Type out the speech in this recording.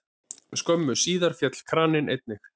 Skömmu síðar féll kraninn einnig.